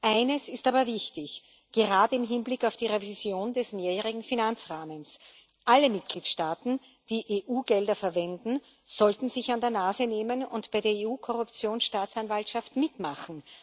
Eines ist aber wichtig, gerade im Hinblick auf die Revision des mehrjährigen Finanzrahmens Alle Mitgliedstaaten, die EU Gelder verwenden, sollten sich an der Nase nehmen und bei der EU Korruptionsstaatsanwaltschaft mitmachen.